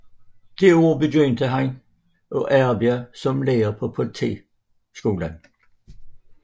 Det år begyndte han at arbejde som lærer på politiskolen